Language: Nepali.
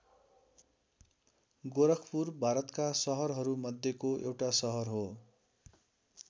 गोरखपुर भारतका सहरहरू मध्येको एउटा सहर हो।